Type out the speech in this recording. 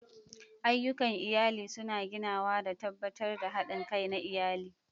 Ayyukan iyali suna ginawa da tabbatar da haɗin kai na iyali.